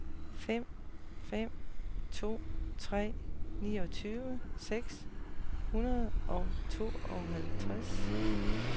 fem fem to tre niogfyrre seks hundrede og tooghalvtreds